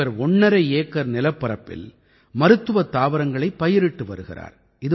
இவர் ஒண்ணரை ஏக்கர் நிலப்பரப்பில் மருத்துவத் தாவரங்களைப் பயிரிட்டு வருகிறார்